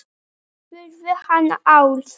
spurði hann Álf.